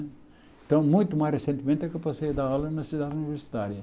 Então, muito mais recentemente é que eu passei a dar aula na cidade universitária.